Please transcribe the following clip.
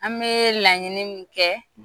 An bɛ laɲini min kɛ?